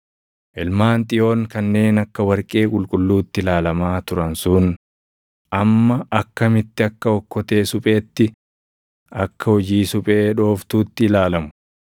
Ilmaan Xiyoon kanneen akka warqee qulqulluutti ilaalamaa turan sun amma akkamitti akka okkotee supheetti, akka hojii suphee dhooftuutti ilaalamu!